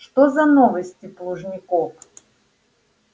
что за новости плужников